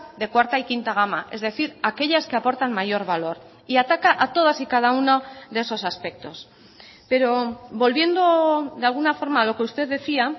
de cuarta y quinta gama es decir aquellas que aportan mayorvalor y ataca a todas y cada uno de esos aspectos pero volviendo de alguna forma a lo que usted decía